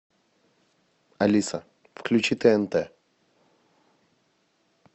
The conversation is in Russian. алиса включи тнт